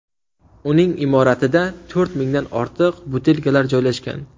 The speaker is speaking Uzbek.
Uning imoratida to‘rt mingdan ortiq butilkalar joylashgan.